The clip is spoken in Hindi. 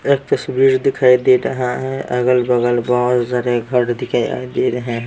एक तस्वीर दिखाई दे रहा है अगल बगल बहुत सारे घर दिखाई दे रहे हैं ।